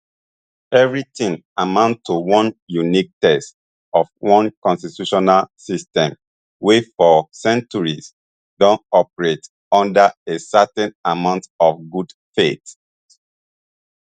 evri tin amount to one unique test of one constitutional system wey for centuries don operate under a certain amount of good faith